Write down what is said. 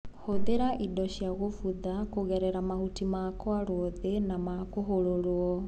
Hũthĩra indo cia gũbutha kũgerera mahuti makwarwo thĩ na makũhũrũrwo.